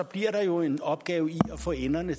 bliver der jo en opgave i at få enderne